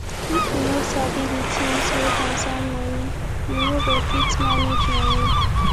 if yu no sabi di things wey concern moni yu no go fit manage moni